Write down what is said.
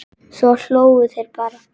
Svo hlógu þeir bara.